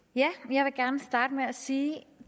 jeg vil gerne starte med at sige